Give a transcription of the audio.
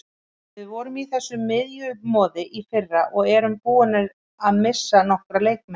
Við vorum í þessu miðjumoði í fyrra og erum búnir að missa nokkra leikmenn.